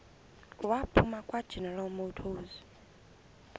waphuma kwageneral motors